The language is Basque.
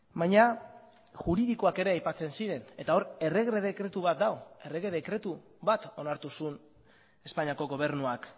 baina juridikoak ere aipatzen ziren eta hor errege dekretu bat dago errege dekretu bat onartu zuen espainiako gobernuak